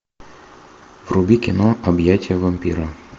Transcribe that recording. вруби кино объятия вампира